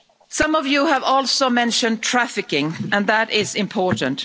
Some of you have also mentioned trafficking and that is important.